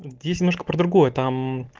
здесь немножко про другое там